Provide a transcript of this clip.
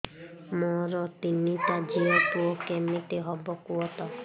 ମୋର ତିନିଟା ଝିଅ ପୁଅ କେମିତି ହବ କୁହତ